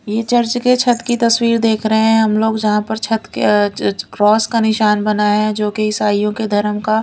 ये चर्च के छत की तस्वीर देख रहे हैं हम लोग जहां पर छत के क्रॉस का निशान बना है जो कि ईसाइयों के धर्म का--